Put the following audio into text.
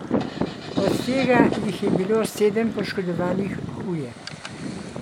Od tega jih je bilo sedem poškodovanih huje.